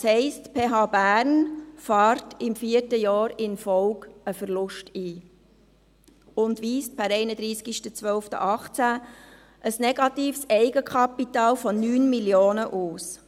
Das heisst, die PH Bern fährt im vierten Jahr in Folge einen Verlust ein und weist per 31. Dezember 2018 ein negatives Eigenkapital von 9 Mio. Franken aus.